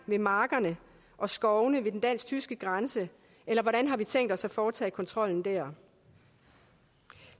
ved markerne og skovene ved den dansk tyske grænse eller hvordan har vi tænkt os at foretage kontrollen der